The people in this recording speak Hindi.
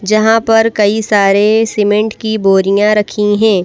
जहां पर कई सारे सीमेंट की बोरियां रखी हैं।